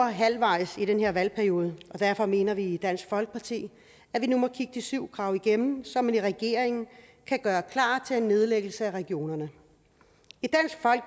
halvvejs i den her valgperiode og derfor mener vi i dansk folkeparti at vi nu må kigge de syv krav igennem så man i regeringen kan gøre klar til nedlæggelse af regionerne